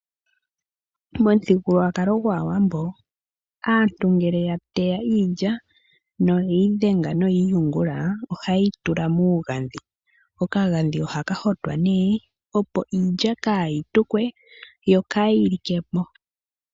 Momuthigululwakalo gwaawambo, aantu ngele ya teya iilya noye yi dhenga, noye yi yungula, ohaye yi tula muugandhi. Okagandhi ohaka hotwa nee, opo iilya kaa yi tukwe yo kaa yi like po.